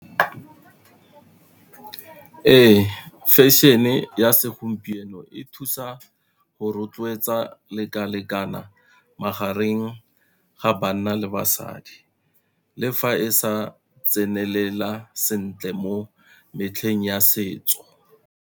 Ee, fashion-e ya segompieno e thusa go rotloetsa leka lekana magareng ga banna le basadi, le fa e sa tsenelela sentle mo metlheng ya setso.